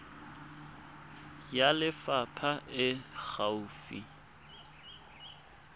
ya lefapha e e gaufi